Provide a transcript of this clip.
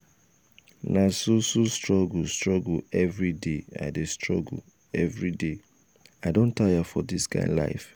na so so struggle struggle everyday i struggle everyday i don tire for dis kind life.